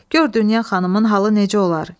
Gör Dünya xanımın halı necə olar?